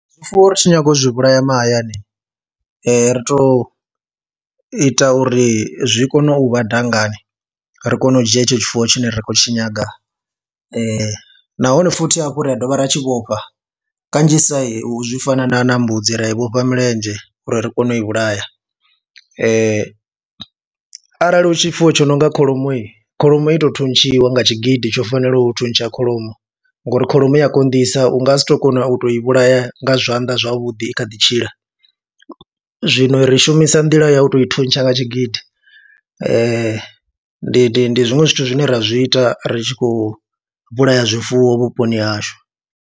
Zwifuwo ri tshi nyaga u zwi vhulaya mahayani ri tou ita uri zwi kone u vha dangani, ri kone u dzhia hetsho tshifuwo tshine ri khou tshi nyaga nahone futhi hafhu ra dovha ra tshi vhofha kanzhisa heyi u zwi fana na na mbudzi ri a i vhofha milenzhe uri ri kone u vhulaya arali hu tshifuwo tsho no nga kholomo, kholomo i tou thuntshiwa nga tshigidi tsho fanelaho u thuntsha kholomo ngauri kholomo i a konḓisa u nga si tou kona u tou i vhulaya nga zwanḓa zwavhuḓi i kha ḓi tshila. Zwino ri shumisa nḓila ya u tou i thuntsha nga tshigidi ndi ndi ndi zwiṅwe zwithu zwine ra zwi ita ri tshi khou vhulaya zwifuwo vhuponi hashu.